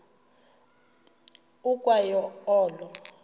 ukwa yo olo